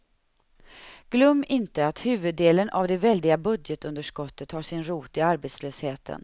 Glöm inte att huvuddelen av det väldiga budgetunderskottet har sin rot i arbetslösheten.